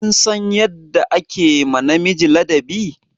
Kin san yadda ake ma miji ladabi?